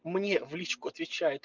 мне в личку отвечай